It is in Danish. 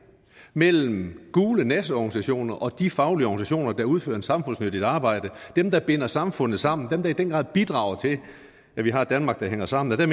mellem gule nasseorganisationer og de faglige organisationer der udfører et samfundsmæssigt arbejde dem der binder samfundet sammen dem der i den grad bidrager til at vi har et danmark der hænger sammen er